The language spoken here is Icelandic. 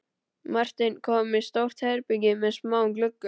Marteinn kom í stórt herbergi með smáum gluggum.